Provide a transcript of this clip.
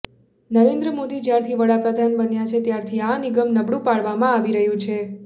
નરેન્દ્ર મોદી જ્યારથી વડાપ્રદાન બન્યા છે ત્યારથી આ નિગમ નબળુ પાડવામાં આવી રહ્યું છે